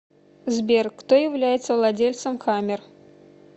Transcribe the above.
сбер кто является владельцем хаммер